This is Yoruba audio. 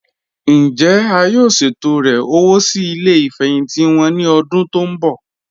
Njẹ́ à yóò ṣetọ̀rẹ̀ owó sí ilẹ̀ ìfẹhintì wọn ni ọ̀dún tó n bọ?